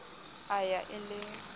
a b ya e le